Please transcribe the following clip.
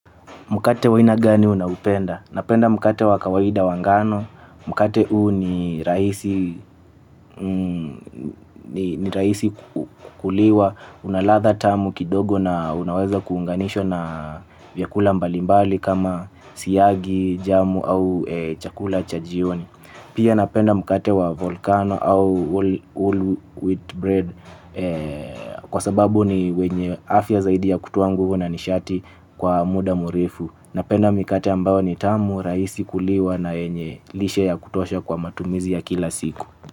Mkate wa aina gani unao upenda? Napenda mkate wa kawaida wa ngano. Mkate huu ni rahisi kuliwa. Unaladha tamu kidogo na unaweza kuunganishwa na vyakula mbalimbali kama siyagi, jamu au chakula cha jioni. Pia napenda mkate wa volcano au whole wheat bread kwa sababu ni wenye afya zaidi ya kutoa nguvu na nishati kwa muda mrefu. Napenda mikate ambao ni tamu rahisi kuliwa na yenye lishe ya kutosha kwa matumizi ya kila siku.